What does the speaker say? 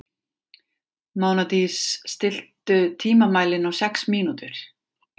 Mánadís, stilltu tímamælinn á sex mínútur.